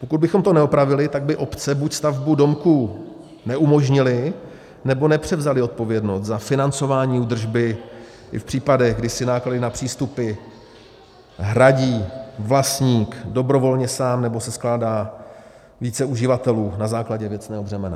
Pokud bychom to neopravili, tak by obce buď stavbu domku neumožnily, nebo nepřevzaly odpovědnost za financování údržby i v případech, kdy si náklady na přístupy hradí vlastník dobrovolně sám nebo se skládá více uživatelů na základě věcného břemene.